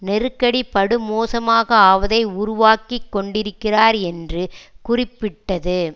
நெருக்கடி படுமோசமாக ஆவதை உருவாக்கி கொண்டிருக்கிறார் என்று குறிப்பிட்டது